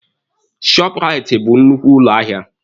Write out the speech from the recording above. Shọọpụraiti bụ nnukwu ụlọ ahịa.